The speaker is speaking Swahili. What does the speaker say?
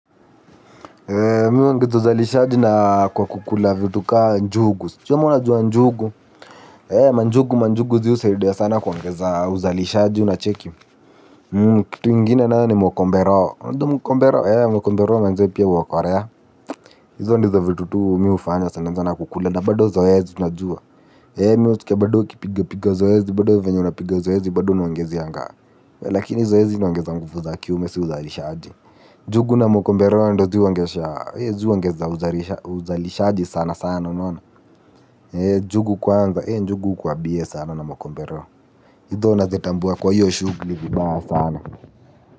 Mi huongezo uzalishaji na kwa kukula vitu kaa njugu. Sijui kama unajua njugu. Eee manjugu manjugu zii husaidia sana kuongeza uzalishaji unacheki. Kitu ingine nao ni mokomberao. Mokomberao. Eee mokomberao najua pia huokolea. Hizo ndo zo vitu tu mi hufanya sana naongeza na kukula. Na bado zoezi ju unajua. Eee mi hutokea badoo kupiga piga zoezi badoo venye unapiga zoezi badoo naongezeanga. Lakini zoezi inaongeza nguvu za kiume si uzalishaji. NJugu na mokombero ndo zi huongeza uzalishaji sana sana unona njugu kwanza ee njugu hukuwa bie sana na mokombero izo nazitambua kwa hiyo shugli vibaya sana.